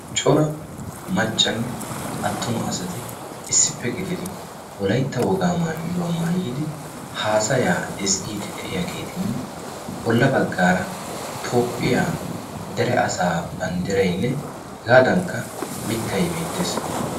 Cora maccanne attuma asati issippe gididi wolaitta wogaa maayuwaa maayidi haasayaa izggiidi de'iyaageetinne bolla baggaara toophphiyaa dere asaa banddirainne hegaadankka mittay beettees.